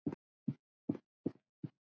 Margrét systir.